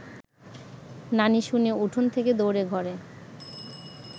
নানি শুনে উঠোন থেকে দৌড়ে ঘরে